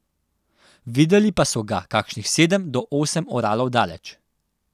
Videli pa so ga kakšnih sedem do osem oralov daleč.